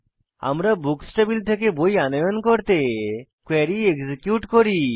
আমরা books table থেকে বই আনয়ন করতে কোয়েরী এক্সিকিউট করি